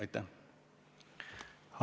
Aitäh!